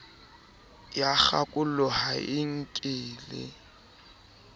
ya kgakollo ha e nkele